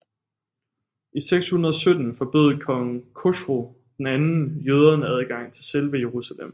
I 617 forbød kong Khosrou II jøderne adgang til selve Jerusalem